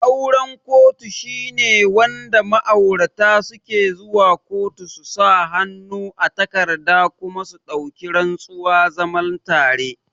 Auren kotu shine wanda ma'aurata suke zuwa kotu su sa hannu a takarda kuma su dauki rantsuwa zaman tare